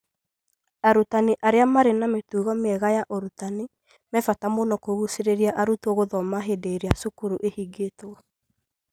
Arutani arĩa marĩ na mĩtugo mĩega ya ũrutani me bata mũno harĩ kũgucĩrĩria arutwo gũthoma hĩndĩ ĩrĩa cukuru ihingĩtwo.